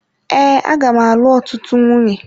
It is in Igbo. Ee aga m alụ ọtụtụ nwunye.